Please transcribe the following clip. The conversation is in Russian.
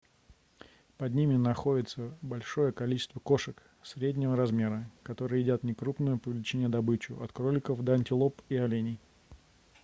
под ними находятся большее количество кошек среднего размера которые едят некрупную по величине добычу от кроликов до антилоп и оленей